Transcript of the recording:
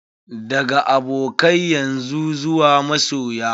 Daga abokai yanzu zuwa masoya.